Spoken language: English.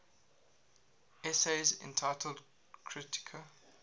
essays entitled kritika